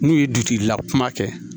N'u ye dutigi la kuma kɛ